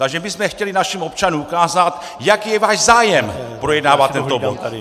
Takže my jsme chtěli našim občanům ukázat, jaký je váš zájem projednávat tento bod!